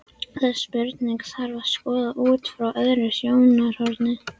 Þessa spurningu þarf að skoða út frá öðru sjónarhorni.